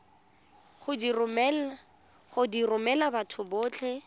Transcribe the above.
go di romela batho botlhe